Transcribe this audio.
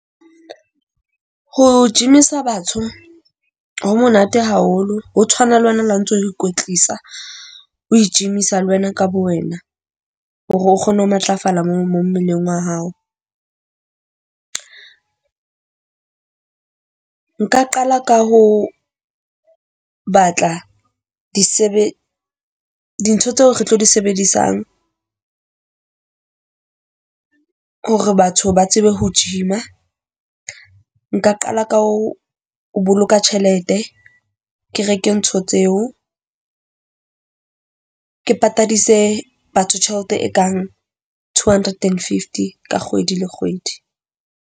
Ho gym-isa batho ho monate haholo ho tshwana le wena le ha ntso o ikwetlisa, o i-gym-isa le wena ka bo wena hore o kgone ho matlafala mo mo mmeleng wa hao. Nka qala ka ho batla dintho tseo re tlo di sebedisang hore batho ba tsebe ho gym-a. Nka qala ka ho ho boloka tjhelete, ke reke ntho tseo, ke patadise batho tjhelete e kang two hundred and fifty ka kgwedi le kgwedi.